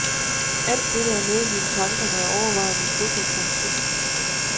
Alt dette er med i mine tanker, når jeg overvejer min fodboldfremtid.